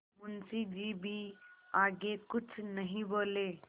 मुंशी जी भी आगे कुछ नहीं बोले